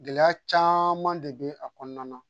Gɛlɛya caman de bɛ a kɔnɔna na